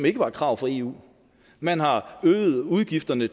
ikke var et krav fra eu man har øget udgifterne